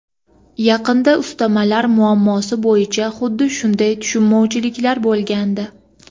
Yaqinda ustamalar muammosi bo‘yicha xuddi shunday tushunmovchilik bo‘lgandi.